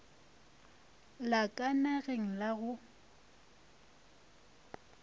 la ka nageng la go